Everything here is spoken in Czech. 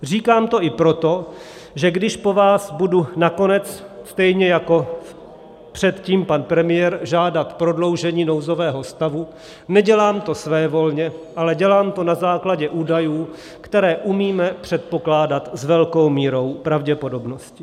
Říkám to i proto, že když po vás budu nakonec, stejně jako předtím pan premiér, žádat prodloužení nouzového stavu, nedělám to svévolně, ale dělám to na základě údajů, které umíme předpokládat s velkou mírou pravděpodobnosti.